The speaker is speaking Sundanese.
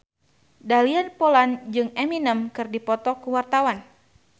Dahlia Poland jeung Eminem keur dipoto ku wartawan